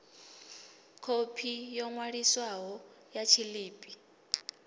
khophi yo ṅwaliswaho ya tshiḽipi